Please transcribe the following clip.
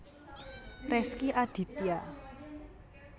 Rezky Aditya